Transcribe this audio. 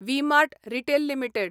V mart retail limited